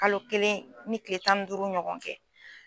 Kalo kelen ni kile tan ni duuru ɲɔgɔn kɛ.